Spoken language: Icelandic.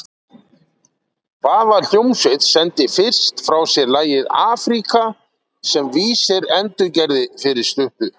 Hvaða hljómsveit sendi fyrst frá sér lagið Africa sem weezer endurgerði fyrir stuttu?